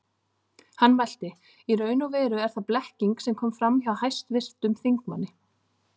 Hann mælti: Í raun og veru er það blekking sem kom fram hjá hæstvirtum þingmanni